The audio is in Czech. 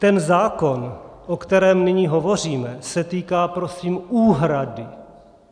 Ten zákon, o kterém nyní hovoříme, se týká prosím úhrady.